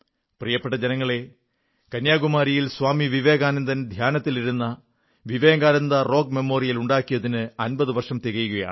പ്രിയപ്പെട്ട ജനങ്ങളേ കന്യാകുമാരിയിൽ സ്വാമി വിവേകാനന്ദൻ ധ്യാനത്തിലിരുന്ന വിവേകാനന്ദപ്പാറയിൽ സ്മാരകം നിർമ്മിച്ചതിന് അമ്പതു വർഷം തികയുകയാണ്